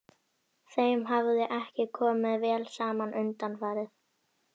Þeim hafði ekki komið vel saman undanfarið.